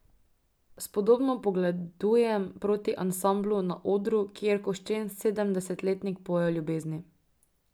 Spodobno pogledujem proti ansamblu na odru, kjer koščen sedemdesetletnik poje o ljubezni.